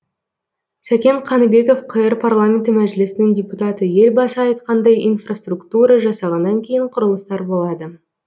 сәкен қаныбеков қр парламенті мәжілісінің депутаты елбасы айтқандай инфраструктура жасағаннан кейін құрылыстар болады